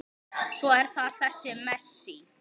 Svo er það þessi Messi.